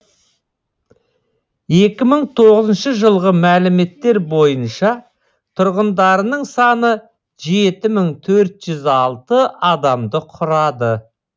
екі мың тоғызыншы жылғы мәліметтер бойынша тұрғындарының саны жеті мың төрт ж з алты адамды құрады